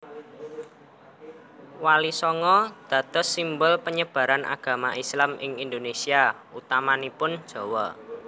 Walisanga dados simbol panyebar agama Islam ing Indonesia utamanipun Jawa